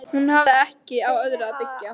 Hún hafði ekki á öðru að byggja.